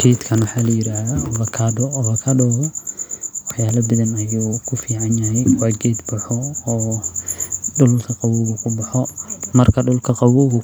Geedkan waxaa ladahaa ovacado, geedkan wax yaaba badan ayuu kufican yahay, waa geed baxo oo dulka qaboow